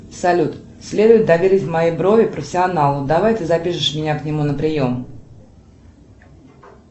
салют следует доверить мои брови профессионалу давай ты запишешь меня к нему на прием